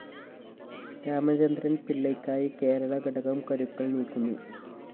രാമചന്ദ്രന്‍ പിള്ളയ്ക്കായി കേരള ഘടകം കരുക്കള്‍ നീക്കുന്നു